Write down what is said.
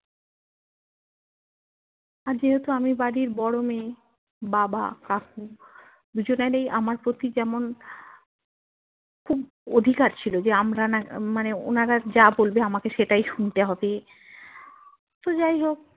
যেহেতু আমি বোরো মেয়ে বাবা কাকু দুজনারই আমার পতি যেমন খুব অধিকার ছিল যে আমরা না মানে ওনারা যা বলবে আমাকে সেটাই শুনতে হবে তো যাই হোক